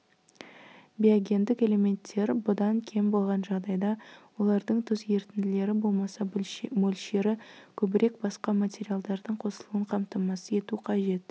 биогендік элементтер бұдан кем болған жағдайда олардың тұз ерітінділері болмаса мөлшері көбірек басқа материалдардың қосылуын қамтамасыз ету қажет